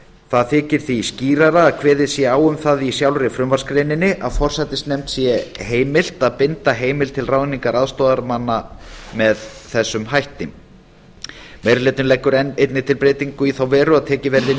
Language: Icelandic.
það þykir því skýrara að kveðið sé á um það í sjálfri frumvarpsgreininni að forsætisnefnd sé heimilt að binda heimild til ráðningar aðstoðarmanna með þessum hætti meiri hlutinn leggur einnig til breytingu í þá veru að tekið verði inn í